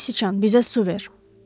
Göy siçan bizə su ver.